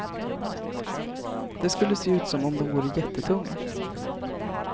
Det skulle se ut som om de vore jättetunga.